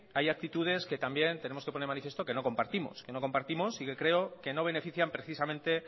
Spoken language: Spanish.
hay actitudes que también tenemos que poner de manifiesto que no compartimos y que creo que no benefician precisamente